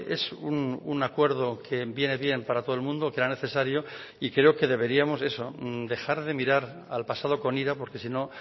es un acuerdo que viene bien para todo el mundo que era necesario y creo que deberíamos eso dejar de mirar al pasado con ira porque si no